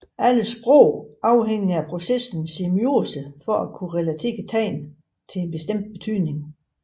Alle sprog afhænger af processen semiose for at kunne relatere tegn til bestemt betydning